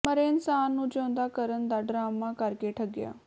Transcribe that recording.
ਮਰੇ ਇਨਸਾਨ ਨੂੰ ਜਿਊਂਦਾ ਕਰਨ ਦਾ ਡਰਾਮਾ ਕਰਕੇ ਠਗਿਆ